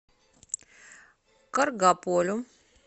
каргополю